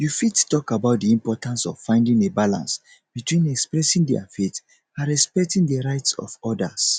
you fit talk about di importance of finding a balance between expressing dia faith and respecting di rights of odas